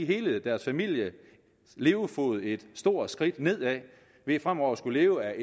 hele deres families levefod tage et stort skridt nedad ved fremover at skulle leve